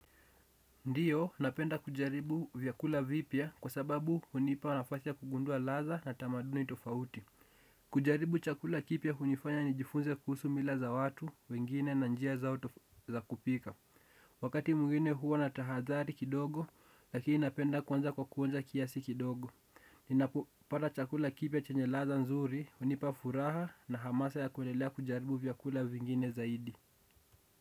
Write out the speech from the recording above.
Ndio napenda kujaribu vyakula vipya kwa sababu hunipa nafasi ya kugundua ladha na tamaduni tofauti. Kujaribu chakula kipya hunifanya ni jifunze kuhusu mila za watu wengine na njia zao za kupika. Wakati mwingine huwa na tahadhari kidogo lakini napenda kwanza kwa kuonja kiasi kidogo ninapo pata chakula kipya chenye ladha nzuri hunipa furaha na hamasa ya kuendelea kujaribu vyakula vingine zaidi.